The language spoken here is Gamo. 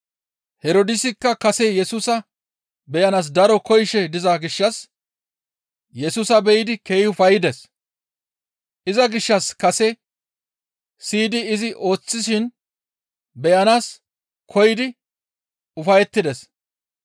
Herdoosikka kase Yesusa beyanaas daro koyishe diza gishshas Yesusa be7idi keehi ufayides; iza gishshas kase siyidi izi ooththishin beyanaas koyidi ufayettides.